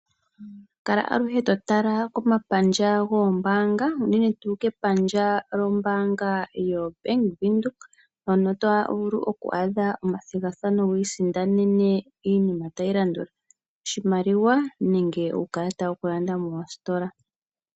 Kala aluhe to tala komapandja goombaaanga unene tuu kepandja lyoBank Windhoek. Oto vulu oku adhako omathigathano wu isindanene oshimaliwa nenge uukalata woku landa moositola.